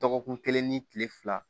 Dɔgɔkun kelen ni kile fila